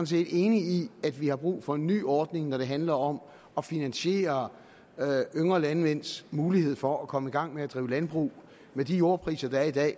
set enig i at vi har brug for en ny ordning når det handler om at finansiere yngre landmænds mulighed for at komme i gang med at drive landbrug med de jordpriser der er i dag